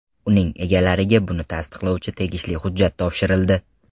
Uning egalariga buni tasdiqlovchi tegishli hujjat topshirildi.